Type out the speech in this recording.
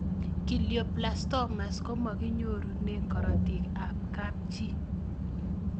Glioblastomas komakinyorune karatik ab kapchii